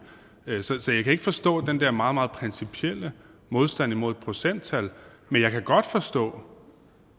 vedtaget så jeg kan ikke forstå den der meget meget principielle modstand imod et procenttal men jeg kan godt forstå